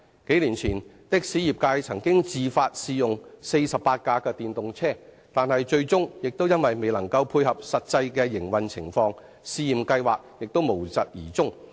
數年前，的士業界曾自發試用48輛電動車，但最終因為未能配合實際的營運情況，試驗計劃無疾而終。